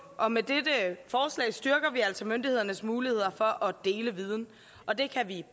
og med dette forslag styrker vi altså myndighedernes muligheder for at dele viden og det kan vi